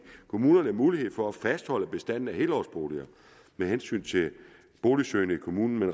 kommunerne mulighed for at fastholde bestanden af helårsboliger af hensyn til boligsøgende i kommunen